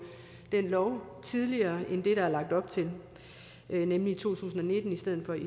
den lov tidligere end det der er lagt op til nemlig i to tusind og nitten i stedet for i